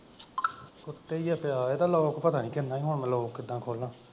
ਉੱਤੇ ਈ ਪਿਆ ਇਹਦਾ ਲੌਕ ਪਤਾ ਕਿਵ਼ੇਂ ਹੁਣ ਮੈਂ ਕਿੱਦਾਂ ਖੋਲਾਂ।